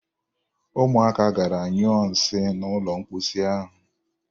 Ụmụaka gara nyụọ nsị n'ụlọ mposi ahụ.